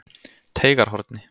Teigarhorni